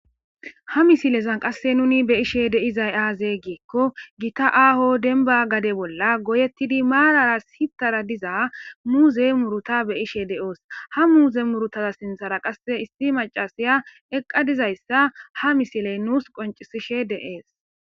Ha misilezan qasse nuni be ishe deizay aazee giekko gita aaho denba gade bolla goyettidi maalara hitara diza muuze muruta be ishe de'oos ha muuze murutaza sinthara qasse issi macasiya eqqa dizayssa ha misiley nuus qoncisishe deees.